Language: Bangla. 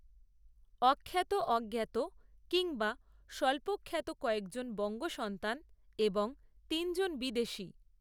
অখ্যাত, অজ্ঞাত কিংবা স্বল্পখ্যাত কয়েকজন বঙ্গসন্তান, এবং তিনজন বিদেশি